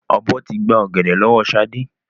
Ọ̀bọ tí gbà ọ̀gẹ̀dẹ̀ lọ́wọ́ sade